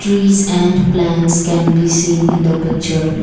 trees and plants can be seen in the picture.